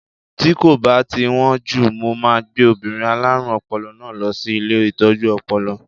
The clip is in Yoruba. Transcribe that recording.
Tí kò bá ti wón jù, mo máa gbé obìnrin alárùn ọpọlọ náà lọ sí ilé Ìtọ́jú Ọpọlọ.